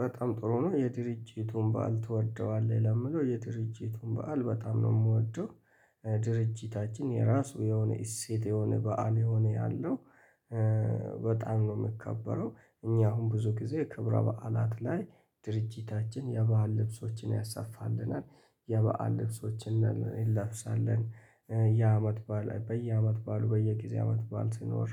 በጣም ጥሩ ነው። የድርጅቱን በዓል ትወደዋለህ? ለምለው የድርጅቱን በዓል በጣም ነው የምወደው። ድርጅታችን የራሱ የሆነ እሴት የሆነ በዓል የሆነ አለው። በጣም ነው ሚከበረው። እኛ አሁን ብዙ ጊዜ ክብረ በዓላት ላይ ድርጅታችን የበአል ልብሶችን ያሰፋልናል። የበአል ልብሶችን ነል እንለብሳለን የአመት በዓል በየአመት ባሉ በየጊዜ አመት ባል ሲኖር